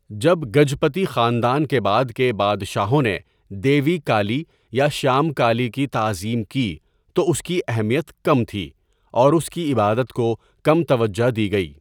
جب گجپتی خاندان کے بعد کے بادشاہوں نے دیوی کالی یا شیامکالی کی تعظیم کی تو اس کی اہمیت کم تھی اور اس کی عبادت کو کم توجہ دی گئی۔